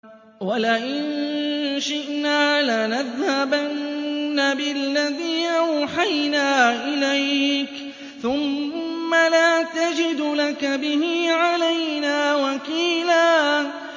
وَلَئِن شِئْنَا لَنَذْهَبَنَّ بِالَّذِي أَوْحَيْنَا إِلَيْكَ ثُمَّ لَا تَجِدُ لَكَ بِهِ عَلَيْنَا وَكِيلًا